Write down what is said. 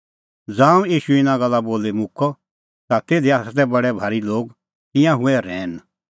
ज़ांऊं ईशू इना गल्ला बोली मुक्कअ ता तिधी तै बडै भारी लोग तिंयां हुऐ रहैन